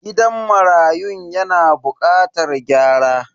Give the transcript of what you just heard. Gidan marayun yana bukatar gyara.